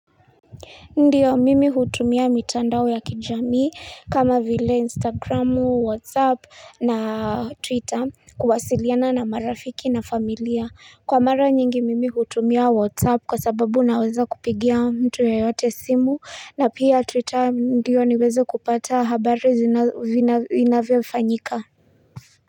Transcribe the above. Ndiyo mimi hutumia mitandao ya kijamii kama vile instagramu whatsapp na twitter kuwasiliana na marafiki na familia kwa mara nyingi mimi hutumia whatsapp kwa sababu naweza kupigia mtu yeyote simu na pia twitter ndiyo niweze kupata habari zinavyofanyika.